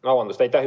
Vabandust!